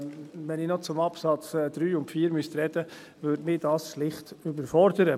Denn wenn ich noch zu Absatz 3 und 4 sprechen müsste, würde mich das schlicht überfordern.